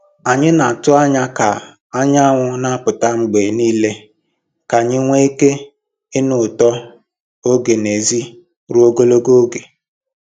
Anyị na-atụ anya ka anyanwụ na-apụta mgbe niile ka anyị nwee ike ịnụ ụtọ oge n'èzí ruo ogologo oge.